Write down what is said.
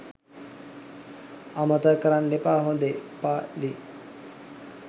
අමතක කරන්න එපා හොදේ. ප.ලි.